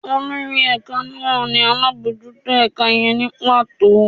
Olorí ẹka naa ni alabọjuto ẹka yẹn nī pato